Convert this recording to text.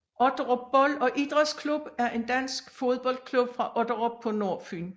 Otterup Bold og Idrætsklub er en dansk fodboldklub fra Otterup på Nordfyn